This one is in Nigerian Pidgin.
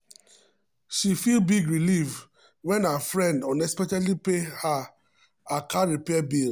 she feel big relief when her friend unexpectedly pay her car repair bill.